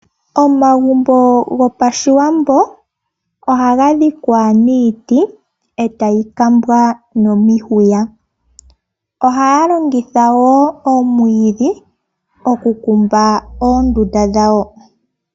Omagumbo gopaShiwambo ohaga dhikwa niiti, eta yi kambwa nomihuya. Ohaya longitha wo omwiidhi okukumba oondunda dhawo.